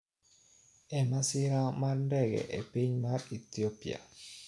e masira mar ndege e piny mar Ethiopia